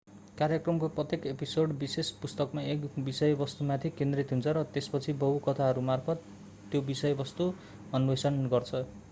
कार्यक्रमको प्रत्येक एपिसोड विशेष पुस्तकमा एक विषयवस्तुमाथि केन्द्रित हुन्छ र त्यसपछि बहु कथाहरूमार्फत त्यो विषयवस्तु अन्वेषण गर्छ